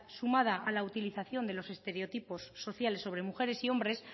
sumada a la utilización de los estereotipos sociales sobre mujeres y hombres